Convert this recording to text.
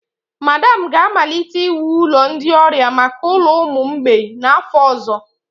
Madam ga-amalite iwu ụlọ ndị ọrịa maka ụlọ ụmụ mgbei n'afọ ọzọ.